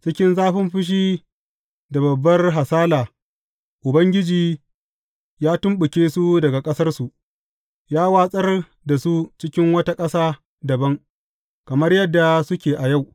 Cikin zafin fushi da babbar hasala Ubangiji ya tumɓuke su daga ƙasarsu, ya watsar da su cikin wata ƙasa dabam, kamar yadda suke a yau.